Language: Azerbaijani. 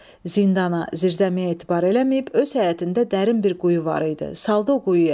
Zindana, zirzəmiyə etibar eləməyib, öz həyətində dərin bir quyu var idi, saldı o quyuya.